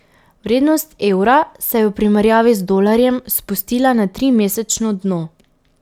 Vrednost evra se je v primerjavi z dolarjem spustila na trimesečno dno.